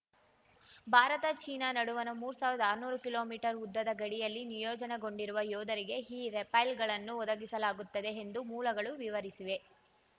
Bharat China ನಡುವಣ ಮೂರ್ ಸಾವಿರ್ದಾ ಆರ್ನೂರು ಕಿಲೋಮೀಟರ್ ಉದ್ದದ ಗಡಿಯಲ್ಲಿ ನಿಯೋಜನೆಗೊಂಡಿರುವ ಯೋಧರಿಗೆ ಈ ರೈಫಲ್‌ಗಳನ್ನು ಒದಗಿಸಲಾಗುತ್ತದೆ ಎಂದು ಮೂಲಗಳು ವಿವರಿಸಿವೆ